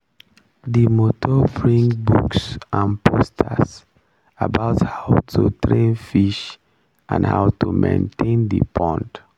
the motor bring books and posters about how to train fish and how to maintain the pond